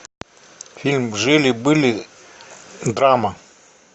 фильм жили были драма